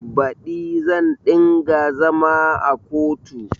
Baɗi zan ɗinga zama a kotu